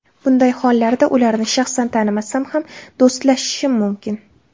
Bunday hollarda ularni shaxsan tanimasam ham, do‘stlashishim mumkin.